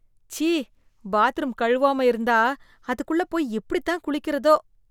ச்சீ ! பாத்ரூம் கழுவாம இருந்தா அதுக்குள்ள போய் எப்படி தான் குளிக்கிறதோ?